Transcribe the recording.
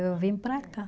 Eu vim para cá.